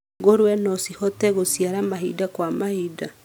Ngũrũwe no cihote gũciara mahinda kwa mahinda.